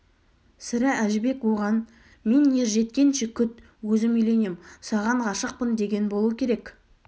сірә әжібек оған мен ер жеткенше күт өзім үйленем саған ғашықпын деген болу керек